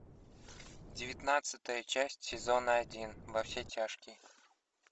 девятнадцатая часть сезона один во все тяжкие